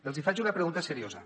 els hi faig una pregunta seriosa